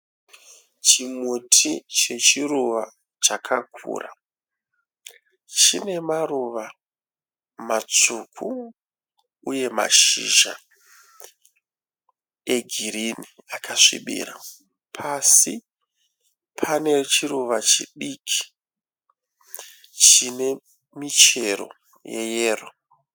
Chimuti chechiruva chakakura. Chine maruva matsvuku uye mashizha egirinhi akasvibira. Pasi pane chiruva chidiki chine michero yeyero